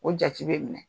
O jate bɛ minɛ